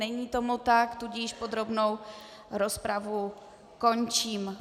Není tomu tak, tudíž podrobnou rozpravu končím.